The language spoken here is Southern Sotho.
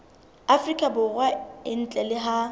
afrika borwa ntle le ha